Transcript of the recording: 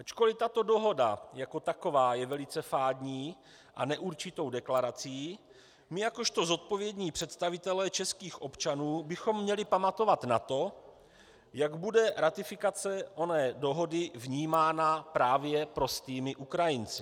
Ačkoliv tato dohoda jako taková je velice fádní a neurčitou deklarací, my jakožto zodpovědní představitelé českých občanů bychom měli pamatovat na to, jak bude ratifikace oné dohody vnímána právě prostými Ukrajinci.